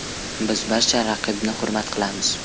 Biz barcha raqibni hurmat qilamiz.